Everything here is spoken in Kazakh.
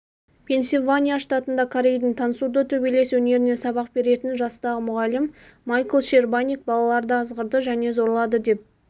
пенсильвания штатында корейдің тансудо төбелес өнерінен сабақ беретін жастағы мұғалім майкл щербаник балаларды азғырдыжәне зорлады деп